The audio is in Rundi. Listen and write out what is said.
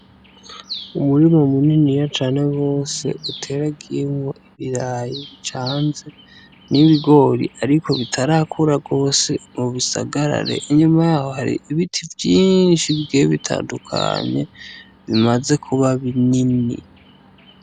Umurima munini cane gose uteragiyemwo ibirayi bicanze n'ibigori ariko bitarakura gose ngo bisagarare, inyuma yaho hari ibiti vyinshi bigiye bitandukanye bimaze kuba binini.